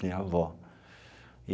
Minha avó e.